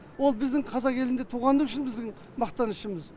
ол біздің қазақ елінде туғаны үшін біздің мақтанышымыз